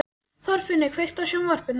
Þorfinnur, kveiktu á sjónvarpinu.